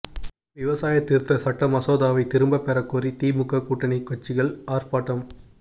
விவசாய திருத்த சட்ட மசோதவை திரும்ப பெறக் கோரி திமுக கூட்டனி கட்சிகள் ஆா்பாட்டம்